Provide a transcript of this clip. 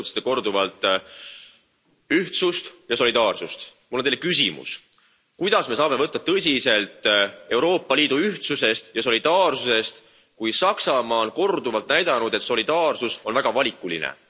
Te rõhutasite korduvalt ühtsust ja solidaarsust. Mul on Teile küsimus kuidas me saame võtta tõsiselt Euroopa Liidu ühtsust ja solidaarsust, kui Saksamaa on korduvalt näidanud, et solidaarsus on väga valikuline.